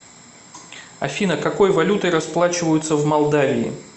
афина какой валютой расплачиваются в молдавии